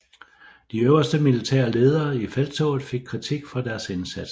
De øverste militære ledere i felttoget fik kritik for deres indsats